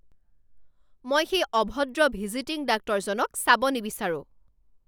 মই সেই অভদ্ৰ ভিজিটিং ডাক্তৰজনক চাব নিবিচাৰোঁ।